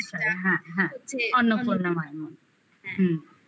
আদলটা দক্ষিণেশ্বরে হ্যাঁ হ্যাঁ অন্নপূর্ণা মায়ের মন্দির হুম